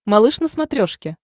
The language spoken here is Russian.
малыш на смотрешке